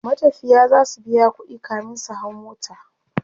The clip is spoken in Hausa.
matafiya zasu biya ƙuɗi kamin su hau mota